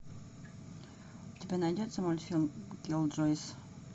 у тебя найдется мультфильм киллджойс